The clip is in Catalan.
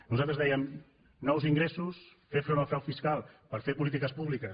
nosaltres dèiem nous ingressos fer front al frau fiscal per fer polítiques públiques